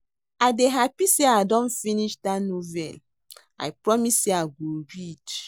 I dey happy say I don finish dat novel I promise say I go read